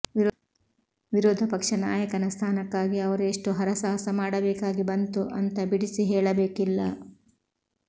ವಿರೋಧಪಕ್ಷ ನಾಯಕನ ಸ್ಥಾನಕ್ಕಾಗಿ ಅವರು ಎಷ್ಟು ಹರಸಾಹಸ ಮಾಡಬೇಕಾಗಿ ಬಂತು ಅಂತ ಬಿಡಿಸಿ ಹೇಳಬೇಕಿಲ್ಲ